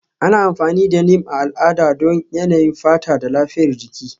Ana amfani da Neem a al'ada don yanayin fata da lafiyar baki.